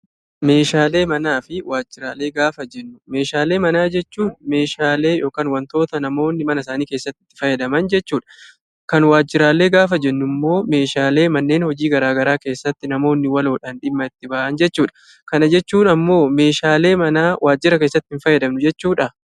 Meeshaalee manaa fi waajjiraalee gaafa jennu meeshaalee manaa jechuun meeshaalee yokaan wantoota namoonni manasaanii keessatti fayyadaman jechuudha. Kan waajjiraalee gaafa jennummoo meeshaaalee manneen hojii garaa garaa keessatti namoonni waloodhan dhimma itti ba'an jechuudha. Kana jechuun ammoo meeshaalee manaa waajjira keessatti ittiin fayyadamnu jechuudhaa?